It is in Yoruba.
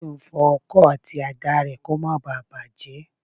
Tájù ń fọ ọkọ àti àdá rẹ̀ lọ́wọ́ kó má bá à bàjẹ́